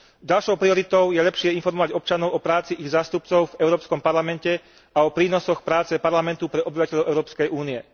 Ďalšou prioritou je lepšie informovať občanov o práci ich zástupcov v Európskom parlamente a o prínosoch práce Parlamentu pre obyvateľov Európskej únie.